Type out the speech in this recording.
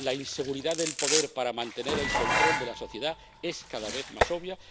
La inseguridad del poder para mantener el control de la sociedad es cada vez más obvia.